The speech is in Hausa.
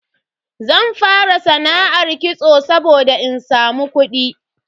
Zan fara sana'ar kitso saboda in samu kudi.